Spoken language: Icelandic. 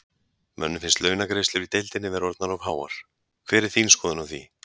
Mönnum finnst launagreiðslur í deildinni vera orðnar of háar, hver er þín skoðun á því?